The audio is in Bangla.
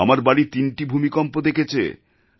আমার বাড়ি তিনটে ভূমিকম্প দেখেছে